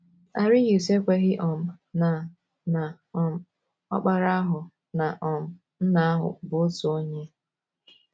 Arius ekweghị um na na um Ọkpara ahụ na um Nna ahụ bụ otu onye.